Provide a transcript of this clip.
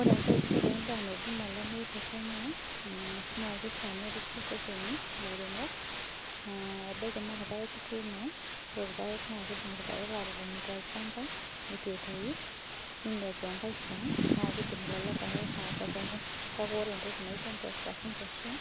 Ore entaisere endaa naidimi olamei tee Kenya naa kifaa neretena elairemok ebaiki naa irpaek etuno naa kidim irpaek atotoni too olchamba eitu etoi ninepu enkae Shan eitu etoi naa kidim atopoki kake ore entoki naijio mboshok oo nkwashen